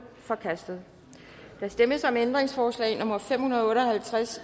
forkastet der stemmes om ændringsforslag nummer fem hundrede og otte og halvtreds